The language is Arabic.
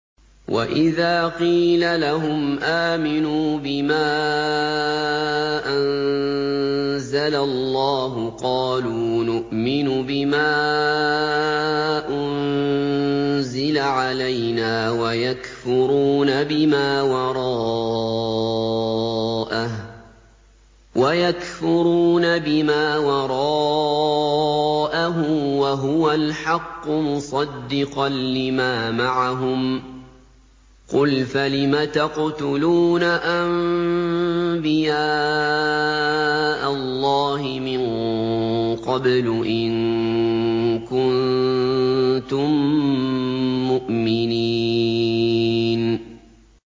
وَإِذَا قِيلَ لَهُمْ آمِنُوا بِمَا أَنزَلَ اللَّهُ قَالُوا نُؤْمِنُ بِمَا أُنزِلَ عَلَيْنَا وَيَكْفُرُونَ بِمَا وَرَاءَهُ وَهُوَ الْحَقُّ مُصَدِّقًا لِّمَا مَعَهُمْ ۗ قُلْ فَلِمَ تَقْتُلُونَ أَنبِيَاءَ اللَّهِ مِن قَبْلُ إِن كُنتُم مُّؤْمِنِينَ